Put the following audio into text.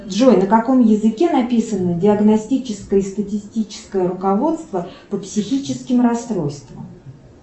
джой на каком языке написано диагностическое и статистическое руководство по психическим расстройствам